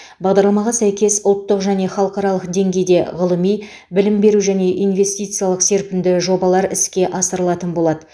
бағдарламаға сәйкес ұлттық және халықаралық деңгейде ғылыми білім беру және инвестициялық серпінді жобалар іске асырылатын болады